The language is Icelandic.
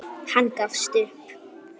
Hann gafst upp.